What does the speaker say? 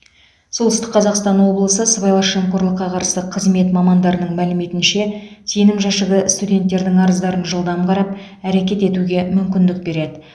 солтүстік қазақстан облысы сыбайлас жемқорлыққа қарсы қызмет мамандарының мәліметінше сенім жәшігі студенттердің арыздарын жылдам қарап әрекет етуге мүмкіндік береді